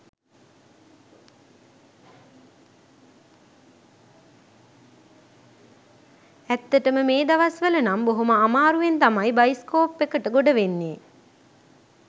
ඇත්තටම මේ දවස් වල නම් බොහොම අමාරුවෙන් තමයි බයිස්කෝප් එකට ගොඩවෙන්නේ.